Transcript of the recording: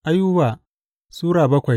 Ayuba Sura bakwai